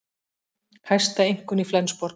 Hæsta einkunn í Flensborg